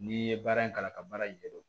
N'i ye baara in kalan ka baara in ɲɛdɔn